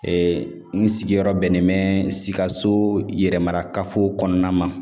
Ee n sigiyɔrɔ bɛnnen bɛ sikaso yɛrɛ marakafo kɔnɔna ma.